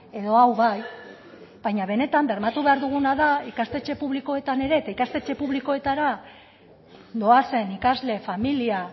edo hau bai baina benetan bermatu behar duguna da ikastetxe publikoetan ere eta ikastetxe publikoetara doazen ikasle familia